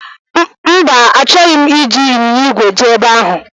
Mba, achọghị m iji ịnyịnya ìgwè jee ebe ahụ